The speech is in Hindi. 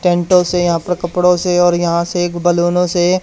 टेंटों से यहां पर कपड़ों से और यहां से एक बैलूनों से--